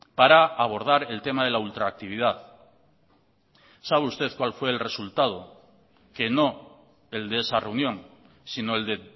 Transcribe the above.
para abordar el tema de la ultraactividad sabe usted cuál fue el resultado que no el de esa reunión sino el de